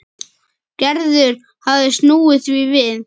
Gerður hafði snúið því við.